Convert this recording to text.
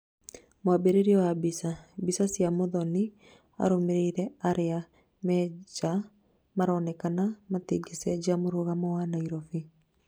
mwambĩrĩrio wa mbica, mbica cia Muthoni arũmĩrĩri aria me nja maroneka matingĩcenjia mũrũgamo wa Nairobi